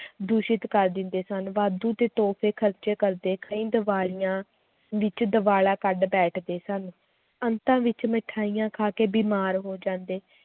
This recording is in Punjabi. ਦੂਸ਼ਿਤ ਕਰ ਦਿੰਦੇ ਸਨ ਵਾਧੂ ਦੇ ਤੋਹਫ਼ੇ ਖ਼ਰਚੇ ਕਰਦੇ ਕਈ ਦੀਵਾਲੀਆਂ ਵਿੱਚ ਦੀਵਾਲਾ ਕੱਢ ਬੈਠਦੇ ਸਨ, ਅੰਤਾਂ ਵਿੱਚ ਮਠਿਆਈਆਂ ਖਾ ਕੇ ਬਿਮਾਰ ਹੋ ਜਾਂਦੇ l